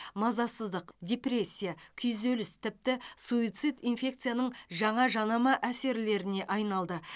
мазасыздық депрессия күйзеліс тіпті суицид инфекцияның жаңа жанама әсерлеріне айналды